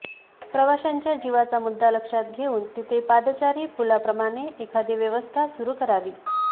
प्रवाशांच्या जिवाचा मुद्दा लक्षात घेऊन तिथे पादचारी पुलाप्रमाणे एखादी व्यवस्था सुरू करावी